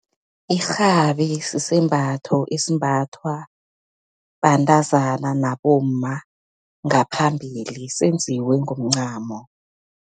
Irhabi, sisembatho esimbathwa bantazana, nabomma ngaphambili, senziwe ngomncamo.